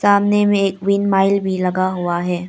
सामने में एक विंड माइल भी लगा हुआ है।